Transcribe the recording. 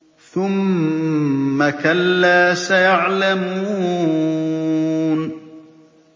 ثُمَّ كَلَّا سَيَعْلَمُونَ